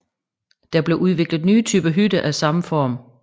Der blev udviklet nye typer hytter af samme form